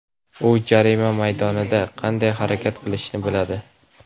U jarima maydonida qanday harakat qilishni biladi.